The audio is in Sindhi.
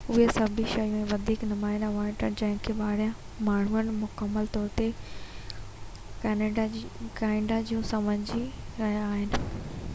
اهي سڀ شيون ۽ وڌيڪ نمايان اونٽاريو جن کي ٻاهريان ماڻهن مڪمل طور تي ڪئناڊا جون سمجهي رهيا آهن